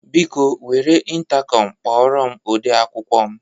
Biko, were ịntakọm kpọrọ m ode akwụkwọ m.